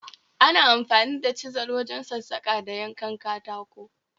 Ana amfani da chizal wajen sassaka da yanka katako